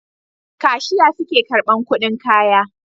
Kashiya suke karban kudin kaya